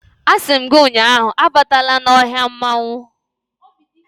A si m gi ụnyahụ, abatala n' ohia mmanwu